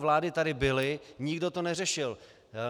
Vlády tady byly, nikdo to neřešil.